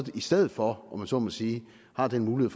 i stedet for om man så må sige har den mulighed